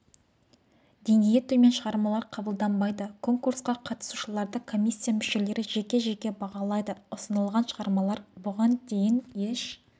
деңгейі төмен шығармалар қабылданбайды конкурсқа қатысушыларды комиссия мүшелері жеке-жеке бағалайды ұсынылған шығармалар бұған дейін еш